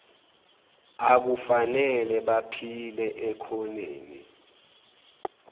akufanele baphile ekhoneni